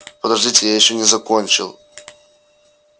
подождите я ещё не закончил